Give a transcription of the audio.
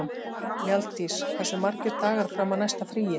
Mjalldís, hversu margir dagar fram að næsta fríi?